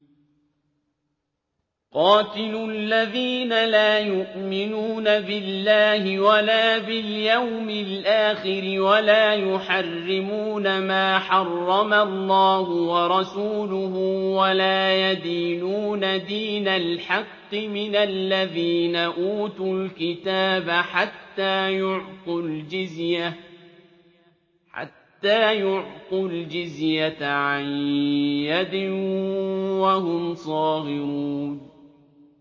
قَاتِلُوا الَّذِينَ لَا يُؤْمِنُونَ بِاللَّهِ وَلَا بِالْيَوْمِ الْآخِرِ وَلَا يُحَرِّمُونَ مَا حَرَّمَ اللَّهُ وَرَسُولُهُ وَلَا يَدِينُونَ دِينَ الْحَقِّ مِنَ الَّذِينَ أُوتُوا الْكِتَابَ حَتَّىٰ يُعْطُوا الْجِزْيَةَ عَن يَدٍ وَهُمْ صَاغِرُونَ